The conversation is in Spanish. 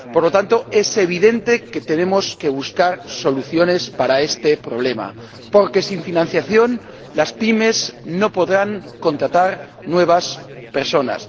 Por lo tanto, es evidente que tenemos que buscar soluciones para este problema, porque sin financiación las pymes no podrán contratar nuevas personas